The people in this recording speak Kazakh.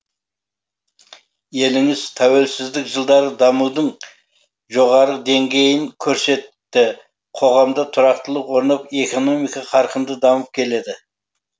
еліңіз тәуелсіздік жылдары дамудың жоғары деңгейін көрсетті қоғамда тұрақтылық орнап экономика қарқынды дамып келеді